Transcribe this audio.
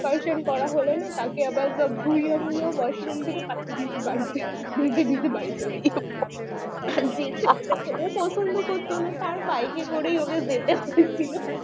কাইসং করা হলো না তারপর মুখ ধুয়ে মুছে washroom থেকে পাঠিয়ে দিয়েছি বাড়িতে পছন্দ করতো না তার বাইকে করে ওকে যেতে হয়েছে।